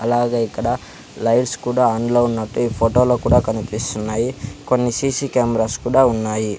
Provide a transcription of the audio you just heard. అలాగే ఇక్కడ లైట్స్ కూడా ఆన్ లో ఉన్నట్టు ఈ ఫొటో లో కూడా కనిపిస్తున్నాయి. కొన్ని సీ_సీ కేమ్రాస్ కూడా ఉన్నాయి.